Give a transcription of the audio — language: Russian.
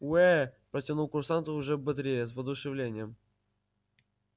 уэ протянул курсант уже бодрее с воодушевлением